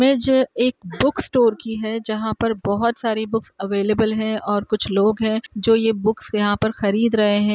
Image एक book store की है जहाँ पर बोहोत सारी बुक्स अवेलेबल है और कुछ लोग हैं जो ये बुक्स यहाँ पर खरीद रहे हैं।